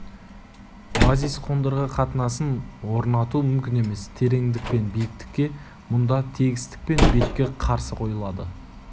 базис қондырғы қатынасын орнату мүмкін емес тереңдік пен биіктікке мұнда тегістік пен беткі қарсы қойылады